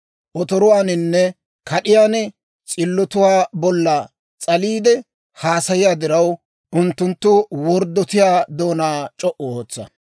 Otoruwaaninne kad'iyaan s'illotuwaa bolla s'aliide haasayiyaa diraw, Unttunttu worddotiyaa doonaa c'o"u ootsa.